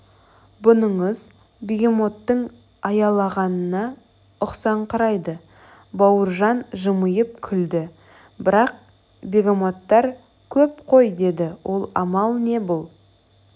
бұныңыз бегемоттың аялағанына ұқсаңқырайды бауыржан жымиып күлді бірақ бегемоттар көп қой деді ол амал не бұл